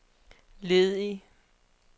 ledig